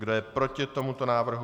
Kdo je proti tomuto návrhu?